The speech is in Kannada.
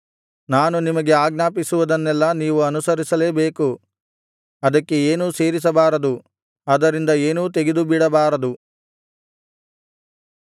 ನಾನು ನಿಮಗೆ ಆಜ್ಞಾಪಿಸುವದನ್ನೆಲ್ಲಾ ನೀವು ಅನುಸರಿಸಲೇಬೇಕು ಅದಕ್ಕೆ ಏನೂ ಸೇರಿಸಬಾರದು ಅದರಿಂದ ಏನೂ ತೆಗೆದುಬಿಡಬಾರದು